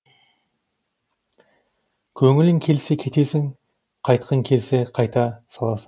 көңілің келсе кетесің қайтқың келсе қайта саласың